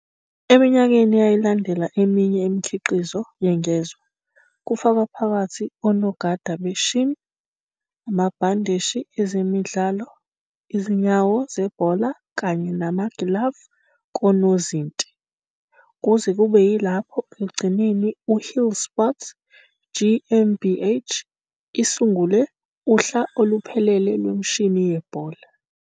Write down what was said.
Eminyakeni eyalandela eminye imikhiqizo yengezwa, kufaka phakathi onogada be-shin, amabhandeshi ezemidlalo, izinyawo zebhola kanye namagilavu konozinti, kuze kube yilapho ekugcineni uhlsport GmbH isisungule uhla oluphelele lwemishini yebhola.